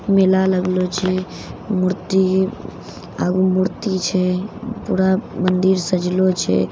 मेला लगलो छे मूर्ति आगू मूर्ति छे पूरा मंदिर सजलो छे--